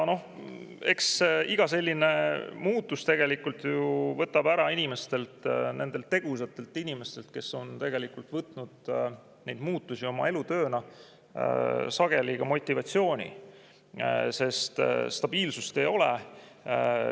Eks iga selline muutus tegelikult ju võtab inimestelt – nendelt tegusatelt inimestel, kes on võtnud neid muutusi oma elutööna – sageli motivatsiooni ära, sest stabiilsust ei ole.